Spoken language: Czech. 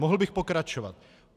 Mohl bych pokračovat.